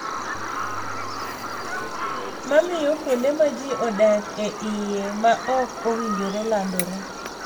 Ma miyo kuonde ma ji odak e iye ma ok owinjore landore.